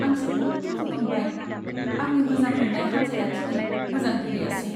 आं जोबोद दुखु मोनबाय, आंनि मोजां मोन्नाय हानजाया दिनै मोजां गेलेयासै।